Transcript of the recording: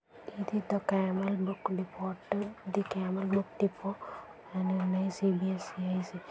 the camel book depot the camel book depot --